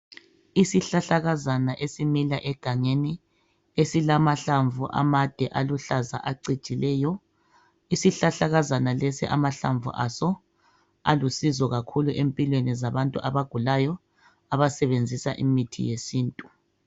Isihlahlakazana esimila egangeni esilamahlamvu amade aluhlaza acijileyo. Isihlahlakazana lesi amahlamvu aso alusizo kakhulu empilweni zabantu abagulayo abasebenzisa imithi yesintu.